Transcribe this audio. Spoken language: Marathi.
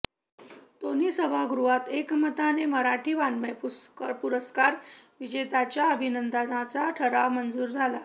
दोन्ही सभागृहांत एकमताने मराठी वाङ्मय पुरस्कार विजेत्यांच्या अभिनंदनाचा ठराव मंजूर झाला